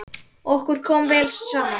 Okkur kom vel saman.